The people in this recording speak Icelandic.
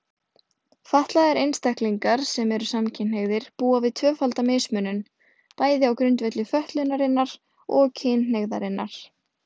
Fatlaðir einstaklingar sem eru samkynhneigðir búa við tvöfalda mismunun, bæði á grundvelli fötlunarinnar og kynhneigðarinnar.